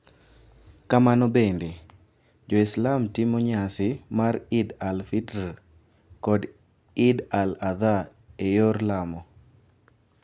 Kamano bende, Jo-Islam timo nyasi mar Id al-Fitr kod Id al-Adha e yor lamo,